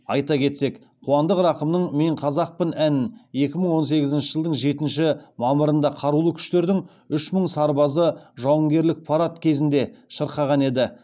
айта кетсек қуандық рақымның мен қазақпын әнін екі мың он сегізінші жылдың жетінші мамырында қарулы күштердің үш мың сарбазы жауынгерлік парад кезінде шырқаған еді